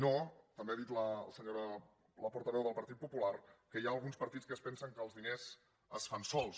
i també ha dit la senyora portaveu del partit popular que hi ha alguns partits que es pensen que els diners es fan sols